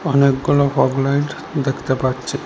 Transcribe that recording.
অনেকগুলো fog light দেখতে পাচ্ছি।